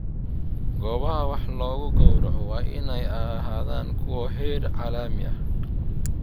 Goobaha wax lagu gowraco waa inay ahaadaan kuwo heer caalami ah.